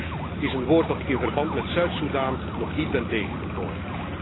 Lief is een woord dat ik in verband met Zuid Sudan nog niet ben tegengekomen.